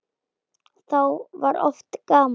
Þá var oft gaman.